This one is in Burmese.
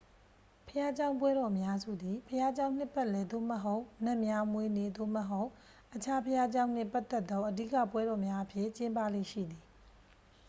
ဘုရားကျောင်းပွဲတော်အများစုသည် ဘုရားကျောင်း နှစ်ပတ်လည်သို့မဟုတ် နတ်များမွေးနေ့ သို့မဟုတ် အခြားဘုရားကျောင်းနှင့်ပတ်သက်သော အဓိက ပွဲတော်များအဖြစ်ကျင်းပလေ့ရှိသည်